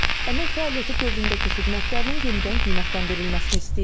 Əmək fəaliyyəti dövründəki xidmətlərinin yenidən qiymətləndirilməsini istəyir.